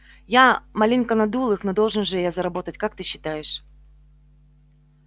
я маленько надул их но должен же я заработать как ты считаешь